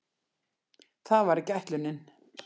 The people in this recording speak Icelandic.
Það var ekki ætlunin.